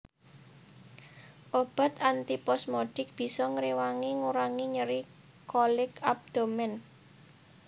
Obat antiposmodik bisa ngréwangi ngurangi nyeri kolik abdomen